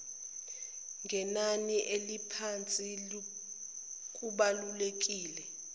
ngenani eliphansi kubalulekile